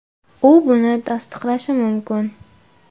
U buni tasdiqlashi mumkin.